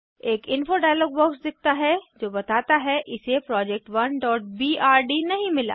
एक info dialogue box दिखता है जो बताता है कि इसे project1बीआरडी नहीं मिला